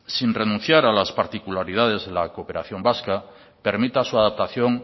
sin renunciar a las titularidades de la cooperación vasca permita su adaptación